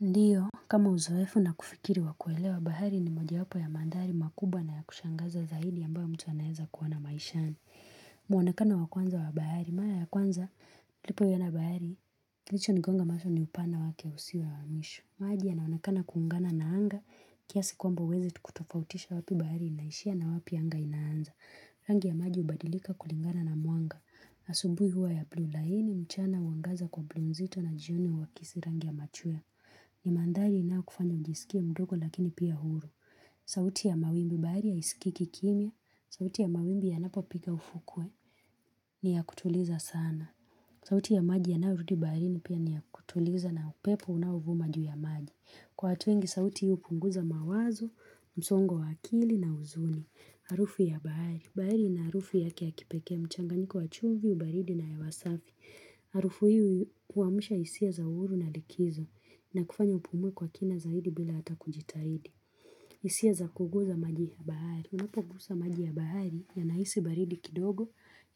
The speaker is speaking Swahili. Ndio, kama uzoefu na kufikiri wa kuelewa bahari ni moja wapo ya mandhari makubwa na ya kushangaza zaidi ambayo mtu anaeza kuona maishani. Muonekano wa kwanza wa bahari, mara ya kwanza, nilipoiona bahari, kilicho nigonga mashu ni upana wake usiwa wa mwisho. Maji yanaonekana kuungana na anga, kiasi kwamba uwezi tu kutofautisha wapi bahari inaishia na wapi anga inaanza. Rangi ya maji ubadilika kulingana na mwanga. Asubui huwa ya blue line, mchana mwangaza kwa blue nzito na jioni uakisi rangi ya machwea. Ni mandhari ina kufanya mjisikie mdogo lakini pia huru. Sauti ya mawimbi bahari haisikiki kimya. Sauti ya mawimbi yanapo piga ufukwe ni ya kutuliza sana. Sauti ya maji yanayorudi baharini pia ni ya kutuliza na upepo unaovuma juu ya maji. Kwa watu wengi sauti hii hupunguza mawazo, msongo wa akili na huzuni. Arufu ya bahari. Bahari ina harufu yake ya kipekee mchanganyiko wa chumvi, baridi na hewa safi. Arufu hii huamsha hisia za uhuru na likizo. Na kufanya upumue kwa kina zaidi bila hata kujitahidi. Isia za kuguza maji ya bahari. Unapogusa maji ya bahari ya nahisi baridi kidogo,